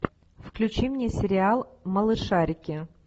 включи мне сериал малышарики